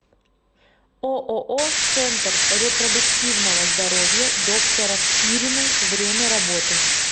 ооо центр репродуктивного здоровья доктора спириной время работы